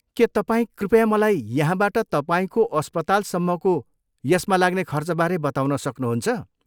के तपाईँ कृपया मलाई यहाँबाट तपाईँको अस्पतालसम्मको यसमा लाग्ने खर्चबारे बताउन सक्नुहुन्छ?